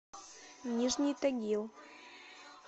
нижний тагил